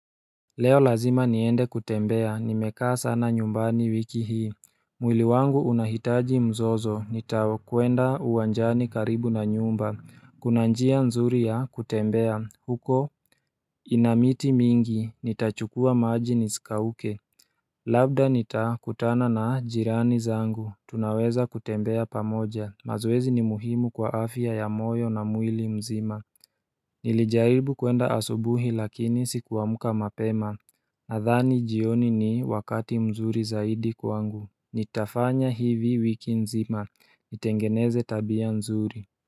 Leo lazima niende kutembea, nimekaa sana nyumbani wiki hii mwili wangu unahitaji mzozo, nitakuenda uwanjani karibu na nyumba Kuna njia nzuri ya kutembea, huko ina miti mingi, nitachukua maji nisikauke Labda nitakutana na jirani zangu, tunaweza kutembea pamoja, mazoezi ni muhimu kwa afya ya moyo na mwili mzima Nilijaribu kuenda asubuhi lakini sikuamka mapema Nadhani jioni ni wakati mzuri zaidi kwangu Nitafanya hivi wiki nzima nitengeneze tabia nzuri.